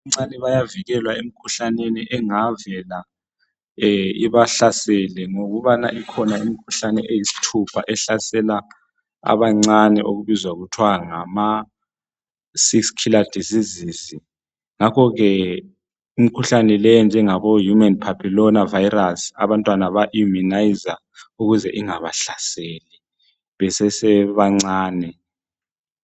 Abantwana abancane bayavikelwa emkhuhlaneni engavela ibahlasele ngokuba ikhona imkhuhlane eyisithupha ehlasela abancane ebizwa kuthiwa ngama6 killer diseases ngakho ke imkhuhlane le enjenge ngabo human phaphilona virus abantwana baya immunayizwa ukuze ingabahlaseli besese bancane.